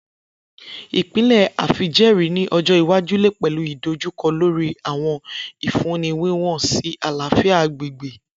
Ipilẹ afijẹẹri ni ọjọ iwaju le pẹlu idojukọ lori awọn ifunni wiwọn si alafia agbegbe.